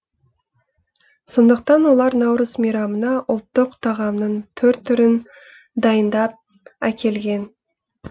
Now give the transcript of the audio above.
сондықтан олар наурыз мейрамына ұлттық тағамның түр түрін дайындап әкелген